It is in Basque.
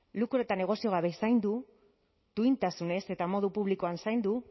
lukro eta negozio gabe zaindu duintasunez eta modu publikoan zaindu